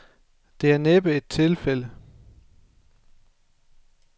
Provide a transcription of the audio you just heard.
Det er næppe et tilfælde.